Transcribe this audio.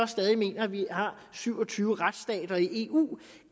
stadig mener at vi har syv og tyve retsstater i eu